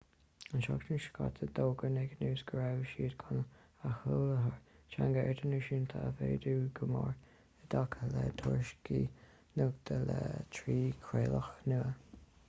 an tseachtain seo caite d'fhógair naked news go raibh siad chun a sholáthar teanga idirnáisiúnta a mhéadú go mór i dtaca le tuairisciú nuachta le trí chraoladh nua